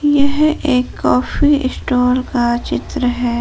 यह एक coffee stall का चित्र है।